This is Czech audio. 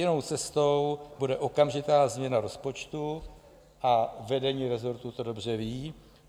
Jedinou cestou bude okamžitá změna rozpočtu a vedení resortu to dobře ví.